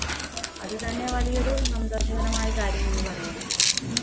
അതുതന്നെ വലിയൊരു സന്തോഷകരമായ കാര്യം എന്ന് പറയാം